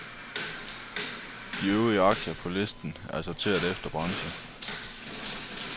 De øvrige aktier på listen er sorteret efter branche.